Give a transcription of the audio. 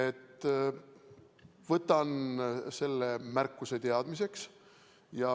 Ma võtan selle märkuse teadmiseks.